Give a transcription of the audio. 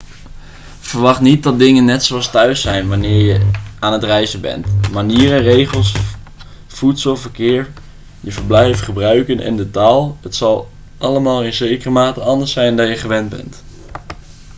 verwacht niet dat dingen net zoals thuis' zijn wanneer je aan het reizen bent manieren regels voedsel verkeer je verblijf gebruiken en de taal het zal allemaal in zekere mate anders zijn dan je gewend bent